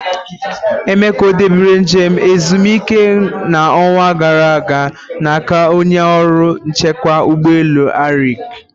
Emeka ọ debere njem ezumike na ọnwa gara aga na aka onye ọrụ nchekwa ụgbọ elu Arik?